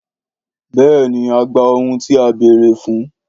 Béèni a gba ohun tí a bèèrè fún